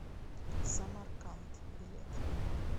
самарканд билет